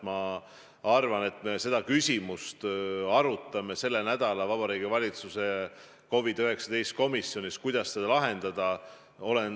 Ma arvan, et me seda küsimust arutame selle nädala Vabariigi Valitsuse COVID-19 komisjonis ja mõtleme, kuidas seda lahendada.